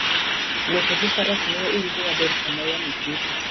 Wuotho gi faras miyo iwinjo maber sama yamo kutho.